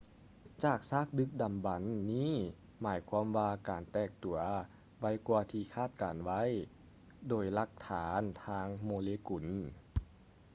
ຈາກຊາກດຶກດໍາບັນນີ້ໝາຍຄວາມວ່າການແຕກຕົວໄວກ່ວາທີ່ຄາດການໄວ້ໂດຍຫຼັກຖານທາງໂມເລກຸນ